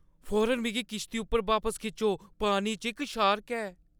फौरन मिगी किश्ती उप्पर बापस खिच्चो, पानी च इक शार्क ऐ।